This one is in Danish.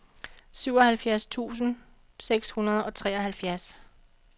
syvoghalvfjerds tusind seks hundrede og treoghalvfjerds